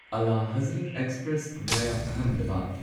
Ala Hazrat express via Ahmedabad